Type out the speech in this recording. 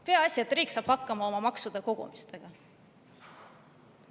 Peaasi, et riik saab hakkama maksude kogumisega.